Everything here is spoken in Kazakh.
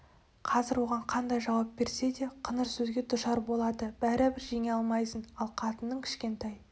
қазір оған қандай жауап берсе де қыңыр сөзге душар болады бәрібір жеңе алмайсың ал қатынның кішкентай